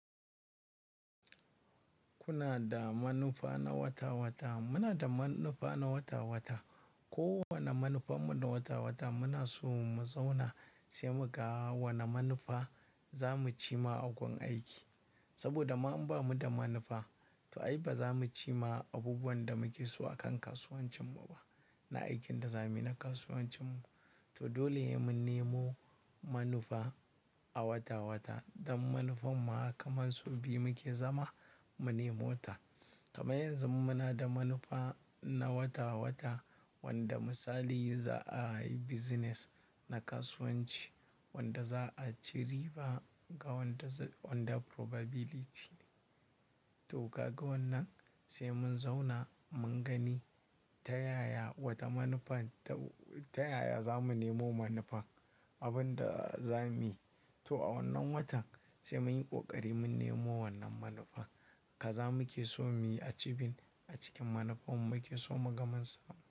Kuna da manufa na wata-wata. Muna da manufa na wata-wata. Ko wane manufan mu na wata-wata muna so mu zauna sai muga wane manufa za mu ci ma a gun aiki. Saboda ma an ba mu da manufa, to ai ba za mu ci ma abubuwan da muke so a kan kasuwancin mu ba na aikin da za mu yi na kasuwancin mu. To dole mu nemo manufa a wata-wata. Dan manufar ma kaman sau biyu mu ke zama, mu nemo wata. Kamar yanzu muna da manufa na wata-wata wanda misali za'a yi business na kasuwanci wanda za'a ci riba ga wanda, under probability. To kaga wannan sai mun zauna mun gani ta yaya wata manufan, ta yaya za mu nemo manufa abin da za mu yi. To a wannan watan sai mun yi ƙoƙari mun nemo wannan manufa. Kaza mu ke so mu yi achieving, a cikin manufar mu muke so muga mansa.